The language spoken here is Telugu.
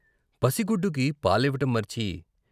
పసిగుడ్డుకి పాలివ్వటం మర్చి